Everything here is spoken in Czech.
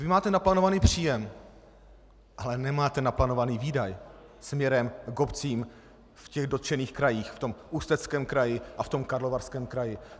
Vy máte naplánovaný příjem, ale nemáte naplánovaný výdaj směrem k obcím v těch dotčených krajích, v tom Ústeckém kraji a v tom Karlovarském kraji.